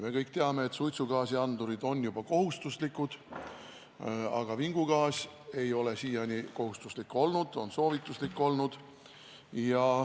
Me kõik teame, et suitsugaasiandurid on juba kohustuslikud, aga vingugaasiandur ei ole siiani kohustuslik olnud, on soovituslik olnud.